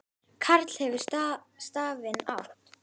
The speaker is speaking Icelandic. Karl hefur stafinn átt.